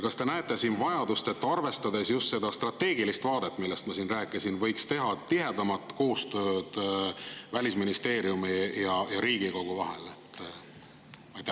Kas te näete siin vajadust, arvestades just seda strateegilist vaadet, millest ma rääkisin, tihedama koostöö järele Välisministeeriumi ja Riigikogu vahel?